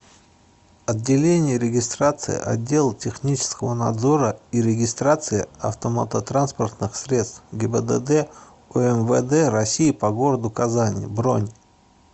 отделение регистрации отдела технического надзора и регистрации автомототранспортных средств гибдд умвд россии по городу казани бронь